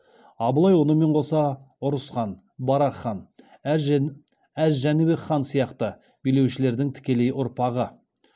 абылай онымен қоса ұрыс хан барақ хан әз жәнібек хан сияқты билеушілердің тікелей ұрпағы